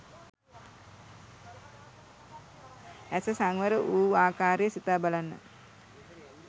ඇස සංවර වූ ආකාරය සිතා බලන්න